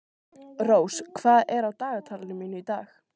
Rós, hvað er á dagatalinu mínu í dag?